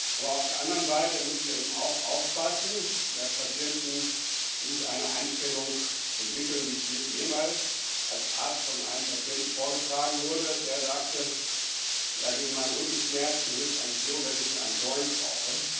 Aber auf der anderen Seite müssen wir eben auch aufpassen, dass Patienten nicht eine Einstellung entwickeln, wie es mir mal als Arzt von einem Patienten vorgetragen wurde, der sagte Ja, gegen meine Rückenschmerzen hilft eigentlich nur, wenn ich in einen Joint rauche.